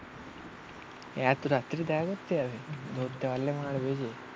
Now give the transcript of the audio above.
এত রাত্রিরে দেখা করতে যাবে? ধরতে পারলে মারবে যে